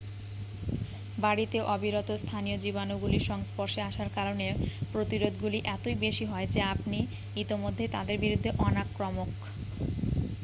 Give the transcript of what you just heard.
বাড়িতে অবিরত স্থানীয় জীবাণুগুলির সংস্পর্শের আসার কারণে প্রতিরোধগুলি এতই বেশি হয় যে আপনি ইতিমধ্যেই তাদের বিরুদ্ধে অনাক্রমক